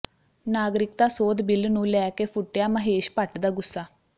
ਨਾਗਰਿਕਤਾ ਸੋਧ ਬਿੱਲ ਨੂੰ ਲੈ ਕੇ ਫੁੱਟਿਆ ਮਹੇਸ਼ ਭੱਟ ਦਾ ਗੁੱਸਾ